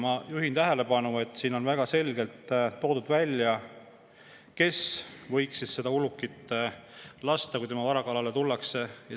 " Ma juhin tähelepanu, et siin on väga selgelt välja toodud, kes võiks lasta ulukit, kui see tema vara kallale tuleb.